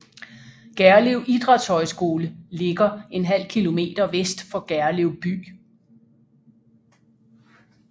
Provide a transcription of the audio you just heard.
Gerlev Idrætshøjskole ligger en halv kilometer vest for Gerlev by